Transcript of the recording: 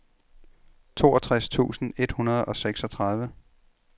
toogtres tusind et hundrede og seksogtredive